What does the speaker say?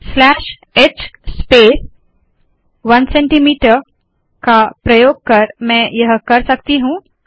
slash h space 1सीएम का प्रयोग कर मैं यह कर सकती हूँ